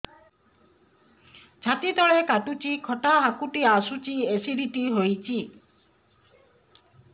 ଛାତି ତଳେ କାଟୁଚି ଖଟା ହାକୁଟି ଆସୁଚି ଏସିଡିଟି ହେଇଚି